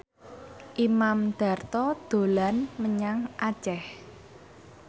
Imam Darto dolan menyang Aceh